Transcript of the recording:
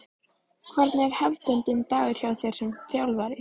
Hvernig er hefðbundinn dagur hjá þér sem þjálfari?